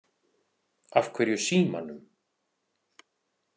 Af hverju símanum?